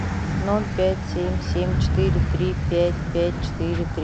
ноль пять семь семь четыре три пять пять четыре три